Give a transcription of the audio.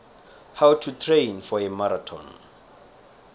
how to train for a marathon